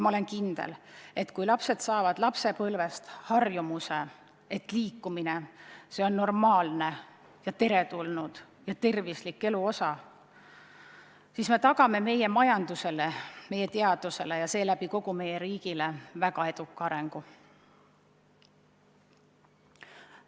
Olen kindel, et kui lapsed saavad lapsepõlvest kaasa harjumuse, et liikumine on normaalne ja tervislik elu osa, siis me tagame meie majandusele, meie teadusele ja seeläbi kogu meie riigile väga eduka arengu.